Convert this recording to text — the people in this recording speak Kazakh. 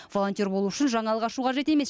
волонтер болу үшін жаңалық ашу қажет емес